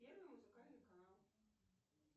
первый музыкальный канал